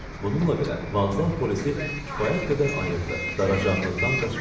Bununla belə, vağzal polisi kifayət qədər ayıqdır, daracaqlıqdan qaçmaq olmaz.